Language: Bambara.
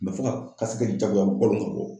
fo ka jagoya bɔ